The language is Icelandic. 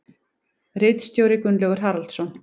Ritstjóri Gunnlaugur Haraldsson.